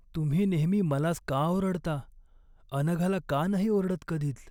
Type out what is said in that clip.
तुम्ही नेहमी मलाच का ओरडता, अनघाला का नाही ओरडत कधीच?